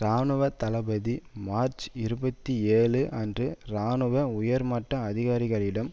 இராணுவ தளபதி மார்ச் இருபத்தி ஏழு அன்று இராணுவ உயர்மட்ட அதிகாரிகளிடம்